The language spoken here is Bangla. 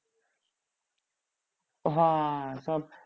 হ্যাঁ সব